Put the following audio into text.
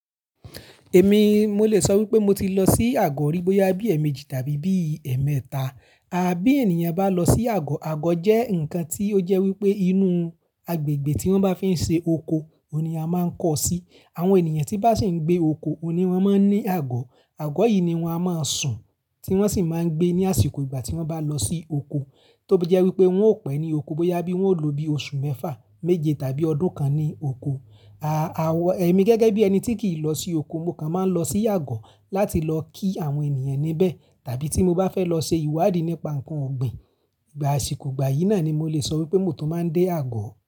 Èmi mo lè sọ wípé mo ti lọ sí àgọ̀ rí bóyá bí ẹ̀ẹ̀méjì tàbí bí ẹ̀ẹ̀mẹ́ta. Bí ènìyàn bá lọ sí àgọ̀, àgọ̀ jẹ́ ǹkan tí ó jẹ́ wípé inú agbègbè tí wọ́n bá fi ń ṣe oko ni a máa ń kọ sí. Àwọn ènìyàn tí bá sì ń gbé oko ni wọ́n máa ń ní àgọ̀. Àgọ̀ yìí ni wọ́n a mọ sùn tí wọ́n sì máa ń gbé ní àsìkò ìgbà tí wọ́n bá lọ sí oko, tó bí jẹ́ wípé wọn ó pẹ́ ní oko bóyá bí wọn ó lò ó bí oṣù mẹ́fà, méje tàbí ọdún kan ní oko. Àwọn, èmi gẹ́gẹ́ bí ẹni tí kì í lọ sí oko, mo kàn máa ń lọ sí àgọ̀ láti lọ kí àwọn ènìyàn níbẹ̀. Tàbí tí mo bá fẹ́ lọ se ìwádìí nípa ǹkan ọ̀gbìn, ìgbà àsìkò ìgbà yìí náà ni mo lè sọ wípé mo tún máa ń dé àgọ̀.